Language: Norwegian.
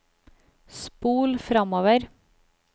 spol framover